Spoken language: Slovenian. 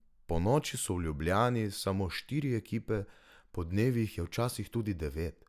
Ponoči so v Ljubljani samo štiri ekipe, podnevi jih je včasih tudi devet.